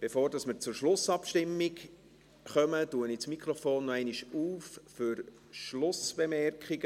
Bevor wir zur Schlussabstimmung kommen, öffne ich das Mikrofon noch einmal für Schlussbemerkungen.